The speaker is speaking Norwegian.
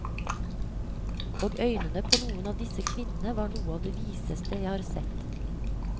Og øynene på noen av disse kvinnene var noe av det viseste jeg har sett.